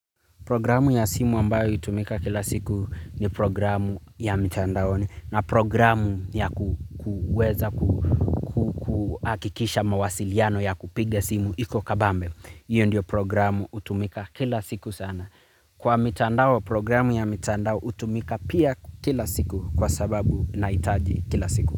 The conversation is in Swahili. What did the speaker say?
Programu ya simu ambayo hutumika kila siku ni programu ya mitandaoni na programu ya kuweza kuhakikisha mawasiliano ya kupiga simu iko kabambe. Iyo ndio programu hutumika kila siku sana. Kwa mitandao programu ya mitandao hutumika pia kila siku kwa sababu nahitaji kila siku.